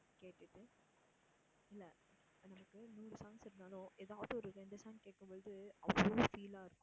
கேட்டுட்டு இல்ல எனக்கு நூறு songs இருந்தாலும் எதாச்சும் ஒரு ரெண்டு song கேட்கும்பொழுது அவ்ளோ feel ஆ இருக்கும்